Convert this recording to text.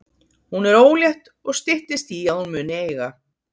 Hún er ólétt og styttist í að hún muni eiga.